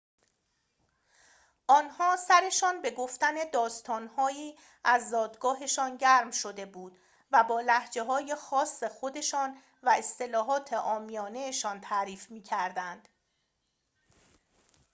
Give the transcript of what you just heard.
آنها سرشان به گفتن داستان‌هایی از زادگاهشان گرم شده بود و با لهجه‌های خاص خودشان و اصطلاحات عامیانه‌شان تعریف می‌کردند